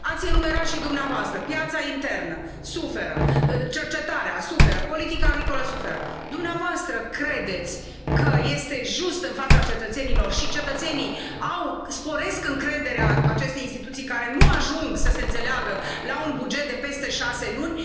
Ați enumerat și dumneavoastră piața internă suferă, cercetarea suferă, politica agricolă suferă. Dumneavoastră credeți că este just în fața cetățenilor? Cetățenii își sporesc încrederea în aceste instituții care nu ajung să se înțeleagă la un buget de peste șase luni.